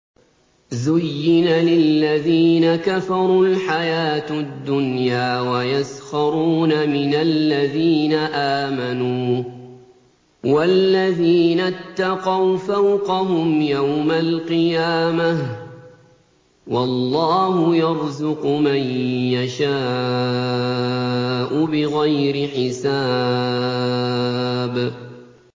زُيِّنَ لِلَّذِينَ كَفَرُوا الْحَيَاةُ الدُّنْيَا وَيَسْخَرُونَ مِنَ الَّذِينَ آمَنُوا ۘ وَالَّذِينَ اتَّقَوْا فَوْقَهُمْ يَوْمَ الْقِيَامَةِ ۗ وَاللَّهُ يَرْزُقُ مَن يَشَاءُ بِغَيْرِ حِسَابٍ